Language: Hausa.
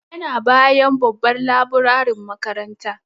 Yana bayan babban laburarin makaranta.